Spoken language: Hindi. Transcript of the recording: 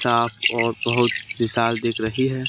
साफ और बहोत विशाल दिख रही है।